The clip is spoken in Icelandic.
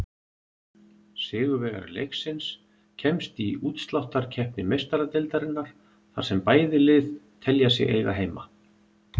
Sigurvegari leiksins kemst í útsláttarkeppni Meistaradeildarinnar, þar sem bæði lið telja sig eiga heima.